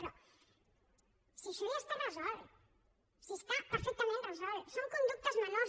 però si això ja està resolt si està perfectament resolt són conductes menors